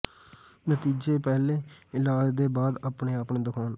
ਨਤੀਜੇ ਪਹਿਲੇ ਇਲਾਜ ਦੇ ਬਾਅਦ ਆਪਣੇ ਆਪ ਨੂੰ ਦਿਖਾਉਣ